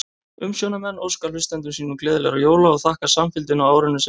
Umsjónarmenn óska hlustendum sínum gleðilegra jóla og þakka samfylgdina á árinu sem er að líða!